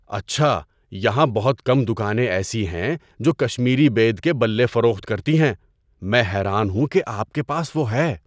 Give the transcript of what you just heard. اچھا! یہاں بہت کم دکانیں ایسی ہیں جو کشمیری بید کے بلے فروخت کرتی ہیں۔ میں حیران ہوں کہ آپ کے پاس وہ ہے۔